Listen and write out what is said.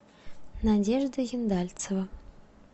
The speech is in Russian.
надежда ендальцева